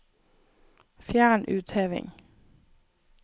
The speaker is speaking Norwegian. Fjern utheving